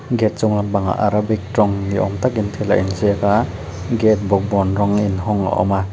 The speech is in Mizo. gate chung lampangah arabic ṭawng ni âwm takin thil a inziak a gate bawkbawn rawng inhawng a awm a.